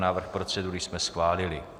Návrh procedury jsme schválili.